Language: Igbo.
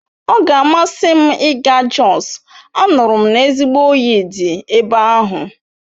Ọ ga-amasị m ịga Jos, anụrụ m ezigbo oyi dị ebe ahụ